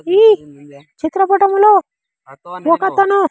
ఈ చిత్రపటంలో ఒకతను.